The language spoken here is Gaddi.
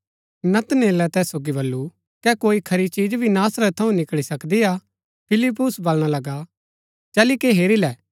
नतनेले तैस सोगी बल्लू कै कोई खरी चिज भी नासरत थऊँ निकळी सकदी हा फिलिप्युस वलणा लगा चली के हेरी लै